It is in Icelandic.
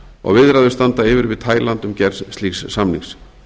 og viðræður standa yfir við tæland um gerð slíks samnings